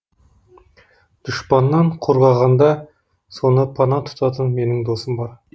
дұшпаннан қорғағанда соны пана тұтатын менің досым бар